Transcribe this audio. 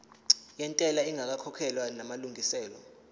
yentela ingakakhokhwa namalungiselo